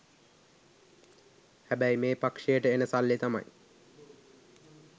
හැබැයි මේ පක්ෂයට එන සල්ලි තමයි